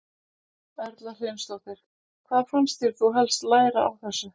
Erla Hlynsdóttir: Hvað fannst þér þú helst læra á þessu?